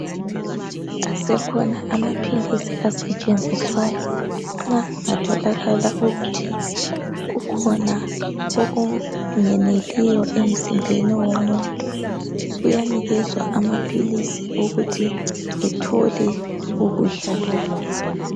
Asekhona amaphilisi asetshenziswayo nxa kungatholakala ukuthi kukhona okungeneliyo emzimbeni womuntu, uyanikezwa amaphilisi ukuthi ethole ukudla lokhu.